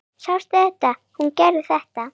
Sástu þegar hún gerði þetta?